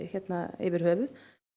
yfir höfuð